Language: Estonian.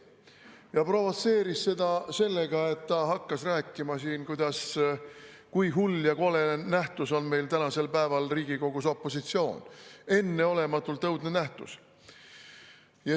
Ta provotseeris seda sellega, et hakkas siin rääkima, kui hull ja kole nähtus on tänasel päeval Riigikogus opositsioon, enneolematult õudne nähtus.